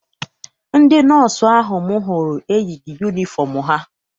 Ndị nọọsụ ahụ m hụrụ eyighị yunifọm ha.